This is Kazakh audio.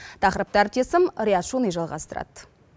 тақырыпты әріптесім риат шони жалғастырады